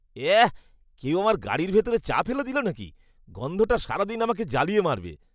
এঃ, কেউ আমার গাড়ির ভিতরে চা ফেলে দিল নাকি? গন্ধটা সারা দিন আমাকে জ্বালিয়ে মারবে।